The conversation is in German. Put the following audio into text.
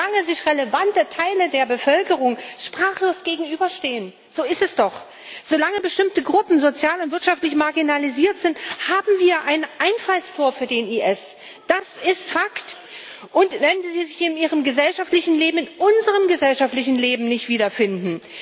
Solange sich relevante Teile der Bevölkerung sprachlos gegenüberstehen so ist es doch solange bestimmte Gruppen sozial und wirtschaftlich marginalisiert sind, haben wir ein Einfallstor für den IS das ist Fakt und weil sie sich in ihrem gesellschaftlichen Leben, in unserem gesellschaftlichen Leben, nicht wiederfinden.